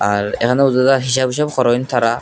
আর এহানেও জাদা হিসাব হিসাব খরোয়েন থারা ।